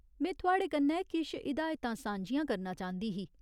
में थुआढ़े कन्नै किश हिदायतां सांझियां करना चांह्दी ही।